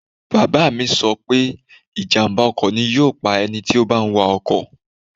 Bàbá mi sọ pé ìjàm̀bá ọkọ̀ ni yóò pa ẹni tí ó bá ń wa ọkọ̀